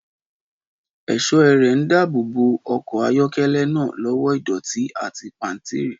Ẹ̀ṣọ́ ẹrẹ̀ ń dáàbò bo ọkọ̀ ayọ́kẹ́lẹ́ náà lọ́wọ́ ìdọ̀tí àti pàǹtírí.